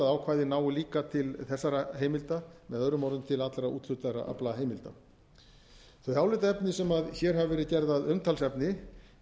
til að ákvæðið nái til þessara heimilda með öðrumorðum til allra úthlutaðra aflaheimilda þau álitaefni sem hér hafa verið gerð að umtalsefni